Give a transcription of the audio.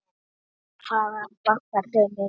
Hvað vantar þig mikið?